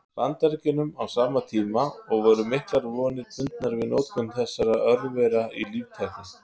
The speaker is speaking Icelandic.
Bandaríkjunum á sama tíma, og voru miklar vonir bundnar við notkun þessara örvera í líftækni.